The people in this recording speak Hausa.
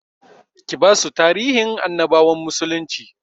Ki basu tarihin annabawan musulnci